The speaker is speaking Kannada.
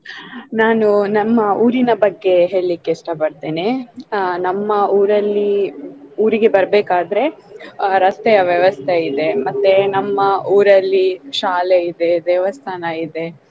ನಾನು ನಮ್ಮ ಊರಿನ ಬಗ್ಗೆ ಹೇಳ್ಲಿಕೆ ಇಷ್ಟಪಡ್ತೆನೆ ಆಹ್ ನಮ್ಮ ಊರಲ್ಲಿ ಊರಿಗೆ ಬರ್ಬೇಕಾದ್ರೆ ಆ ರಸ್ತೆಯ ವ್ಯವಸ್ತೆ ಇದೆ ಮತ್ತೆ ನಮ್ಮ ಊರಲ್ಲಿ ಶಾಲೆ ಇದೆ ದೇವಸ್ಥಾನ ಇದೆ.